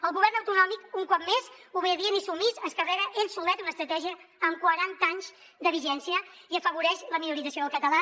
el go·vern autonòmic un cop més obedient i submís es carrega ell solet una estratègia amb quaranta anys de vigència i afavoreix la minorització del català